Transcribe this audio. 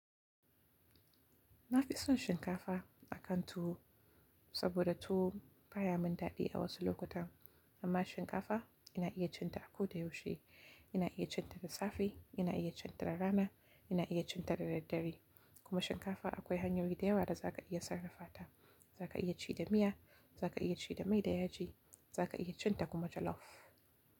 Na fi son shinkafa akan tuwo saboda tuwo baya min daɗi a wasu lokutan amma shinkafa ina iya cin ta a ko da yaushe. Ina iya cin ta da safe, ina iya cin ta da rana, ina iya cin ta da daddare kuma shinkafa akwai hanyoyi da yawa da za ka iya sarrafa ta. Za ka iya ci da miya, za ka iya ci da mai da yaji, za ka iya cin ta kuma da jalof.